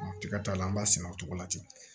Tigɛ t'a la an b'a sɛnɛ o cogo la ten